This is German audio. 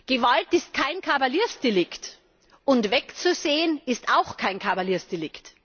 Gewalt ist kein Kavaliersdelikt, und wegzusehen ist auch kein Kavaliersdelikt!